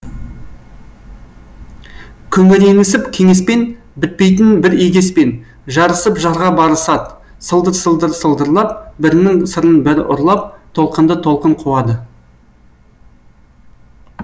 күңіренісіп кеңеспен бітпейтін бір егеспен жарысып жарға барысад сылдыр сылдыр сылдырлап бірінің сырын бірі ұрлап толқынды толқын қуады